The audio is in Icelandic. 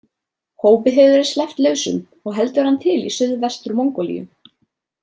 Hópi hefur verið sleppt lausum og heldur hann til í Suðvestur-Mongólíu.